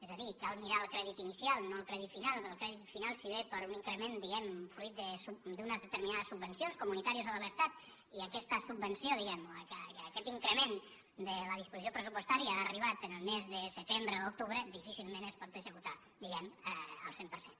és a dir cal mirar el crèdit inicial no el crèdit final perquè el crèdit final si ve per un increment diguem ne fruit d’unes determinades subvencions comunitàries o de l’estat i aquesta subvenció o aquest increment de la disposició pressupostària ha arribat al mes de setembre o octubre difícilment es pot executar al cent per cent